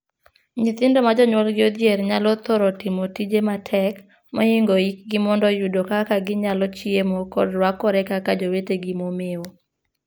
Nyithindo ma jonyuolgi odhier nyalo thoro timo tije matek mohingo hikgi mondo yudo kaka ginyalo chiemo kod ruakore kaka jowetegi momeo.